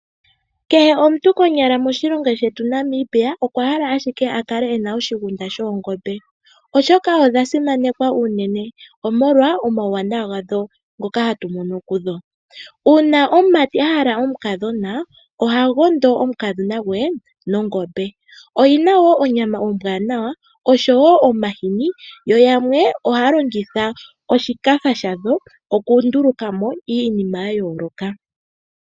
Kehe omuntu konyala moshilongo shetu Namibia okwa hala ashike akale ena oshigunda shoongombe, oshoka odha simanekwa uunene omolwa omauwanawa gadho ngoka hatu mono kudho. Uuna omumati ahala omukadhona ohagondo omukadhona gwe nongombe, oyina woo onyama ombwaanawa oshowo omahini yo yamwe ohaa longitha oshikafa shadho okunduluka mo iinima yayooloka.